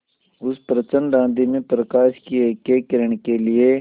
उस प्रचंड आँधी में प्रकाश की एकएक किरण के लिए